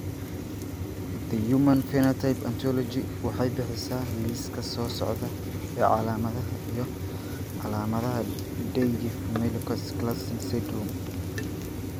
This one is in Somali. The Human Phenotype Ontology waxay bixisaa liiska soo socda ee calaamadaha iyo calaamadaha Dyggve Melchior Clausen syndrome.